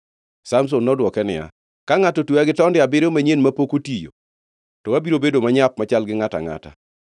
Samson nodwoke niya, “Ka ngʼato otweya gi tonde abiriyo manyien mapok otiyo, to abiro bedo manyap machal gi ngʼato angʼata.”